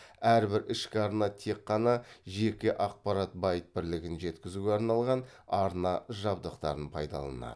әрбір ішкі арна тек қана жеке ақпарат байт бірлігін жеткізуге арналған арна жабдықтарын пайдаланады